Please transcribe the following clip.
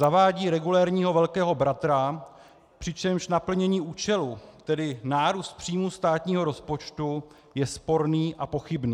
Zavádí regulérního Velkého bratra, přičemž naplnění účelu, tedy nárůst příjmů státního rozpočtu, je sporné a pochybné.